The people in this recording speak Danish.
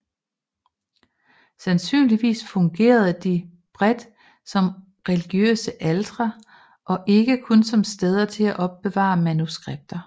Sandsynligvis fungerede de bredt som religiøse altre og ikke kun som steder at opbevare manuskripter